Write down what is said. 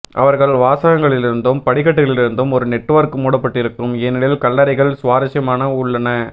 அவர்கள் வாசகங்களிலிருந்தும் படிக்கட்டுகளிலிருந்து ஒரு நெட்வொர்க் மூடப்பட்டிருக்கும் ஏனெனில் கல்லறைகள் சுவாரஸ்யமான உள்ளன